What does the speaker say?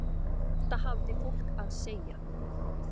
Þetta hafði fólk að segja.